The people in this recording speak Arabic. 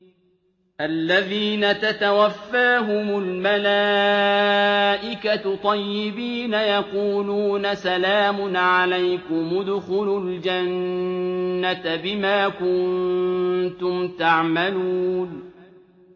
الَّذِينَ تَتَوَفَّاهُمُ الْمَلَائِكَةُ طَيِّبِينَ ۙ يَقُولُونَ سَلَامٌ عَلَيْكُمُ ادْخُلُوا الْجَنَّةَ بِمَا كُنتُمْ تَعْمَلُونَ